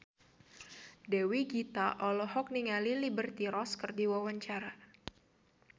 Dewi Gita olohok ningali Liberty Ross keur diwawancara